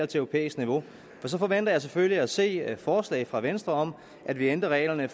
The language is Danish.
til europæisk niveau for så forventer jeg selvfølgelig at se forslag fra venstre om at vi ændrer reglerne